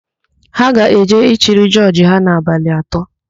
Ha ga-eje ịchịrị ákwà jọọjị ha n'abalị atọ.